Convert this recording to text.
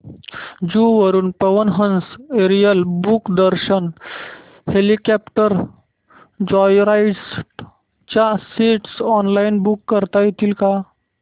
जुहू वरून Pawan Hans aerial Mumbai Darshan helicopter joyride च्या seats online book करता येतील का